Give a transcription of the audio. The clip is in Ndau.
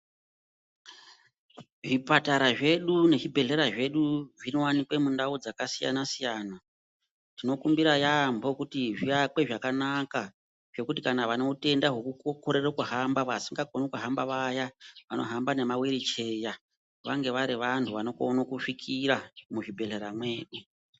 Zvipatara zvedu nezvibhedhleya zvedu zvinowanikwe mundau dzakasiyana siyana tinokumbira yambo kuti zviyakwe zvakanaka zvekuti kana vanoutenda hwoku korera ku hamba vasingakoni kuhamba vaya vanohamba nema wiri cheya vange vari vandu vanokona kisvikira muzvibhedhlera mwedu.